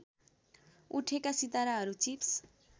उठेका सिताराहरू चिप्स